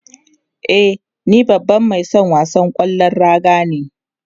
E, ni babban mai son wasan kwallon raga ne.